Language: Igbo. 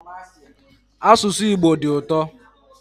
Asụsụ Igbo dị ụtọ